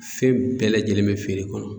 Fɛn bɛɛ lajɛlen bɛ feere kɔnɔ.